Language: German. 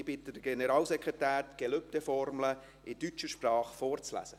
Ich bitte den Generalsekretär, die Gelübdeformel in deutscher Sprache vorzulesen.